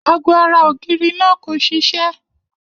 Ago ara ògiri náà kò siṣé.